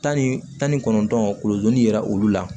Tan ni tan ni kɔnɔntɔn kuludi yɛrɛ olu la